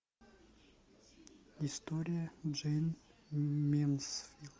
история джейн мэнсфилд